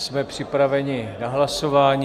Jsme připraveni na hlasování.